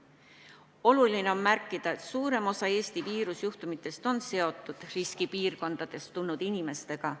Oluline on märkida, et suurem osa Eesti viirusjuhtumitest on seotud riskipiirkondadest tulnud inimestega.